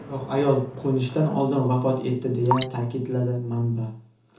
Biroq ayol qo‘nishdan oldin vafot etdi”, deya ta’kidladi manba.